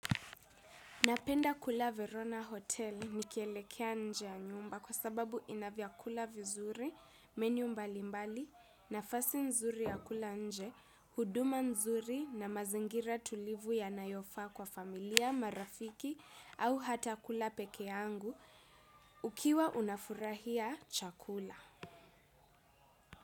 Napenda kula Verona Hotel nikielekea nje ya nyumba kwa sababu inavyakula vizuri, menu mbalimbali, nafasi nzuri ya kula nje, huduma nzuri na mazingira tulivu yanayofa kwa familia, marafiki au hata kula peke yangu ukiwa unafurahia chakula.